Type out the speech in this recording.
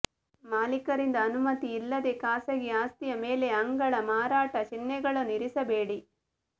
ಮಾಲೀಕರಿಂದ ಅನುಮತಿಯಿಲ್ಲದೆ ಖಾಸಗಿ ಆಸ್ತಿಯ ಮೇಲೆ ಅಂಗಳ ಮಾರಾಟ ಚಿಹ್ನೆಗಳನ್ನು ಇರಿಸಬೇಡಿ